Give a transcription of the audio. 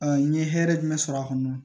n ye hɛrɛ jumɛn sɔrɔ a kɔnɔ